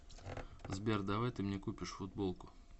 сбер давай ты мне купишь футболку